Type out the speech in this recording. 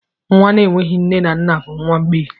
Nwa na-enweghị nne na nna bụ nwa mgbei.